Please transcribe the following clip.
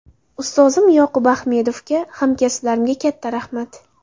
Ustozim Yoqub Axmedovga, hamkasblarimga katta rahmat.